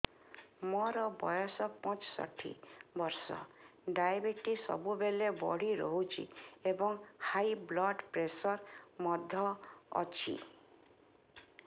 ମୋର ବୟସ ପଞ୍ଚଷଠି ବର୍ଷ ଡାଏବେଟିସ ସବୁବେଳେ ବଢି ରହୁଛି ଏବଂ ହାଇ ବ୍ଲଡ଼ ପ୍ରେସର ମଧ୍ୟ ଅଛି